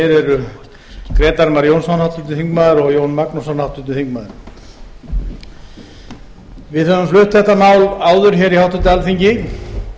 eru grétar mar jónsson háttvirtur þingmaður og jón magnússon háttvirtur þingmaður við höfum flutt þetta mál áður hér í háttvirtu alþingi